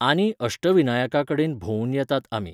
आनी अष्टविनायकाकडेन भोंवून येतात आमी.